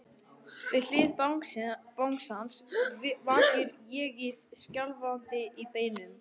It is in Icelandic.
Við hlið bangsans vakir ÉG-ið, skjálfandi á beinunum.